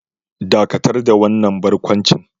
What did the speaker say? Dakatar da wannan barkwanci